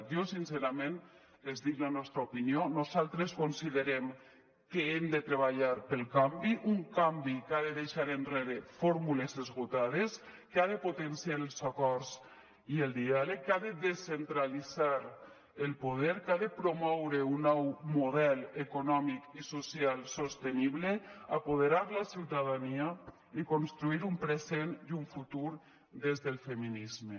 jo sincerament els dic la nostra opinió nosaltres considerem que hem de treballar pel canvi un canvi que ha de deixar enrere fórmules esgotades que ha de potenciar els acords i el diàleg que ha de descentralitzar el poder que ha de promoure un nou model econòmic i social sostenible apoderar la ciutadania i construir un present i un futur des del feminisme